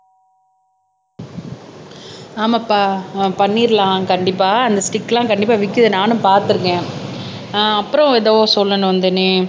ஆமாப்பா பண்ணிரலாம் கண்டிப்பா அந்த ஸ்டிக் எல்லாம் கண்டிப்பா விக்குது நானும் பாத்திருக்கேன் ஆஹ் அப்புறம் எதோ சொல்லணும் வந்தனே